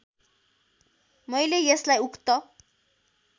मैले यसलाई उक्त